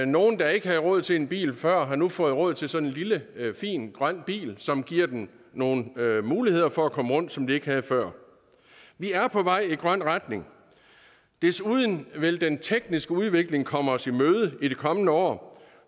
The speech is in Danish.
nogle der ikke havde råd til en bil før har nu fået råd til sådan en lille fin grøn bil som giver dem nogle muligheder for at komme rundt som de ikke havde før vi er på vej i en grøn retning desuden vil den tekniske udvikling komme os i møde i de kommende år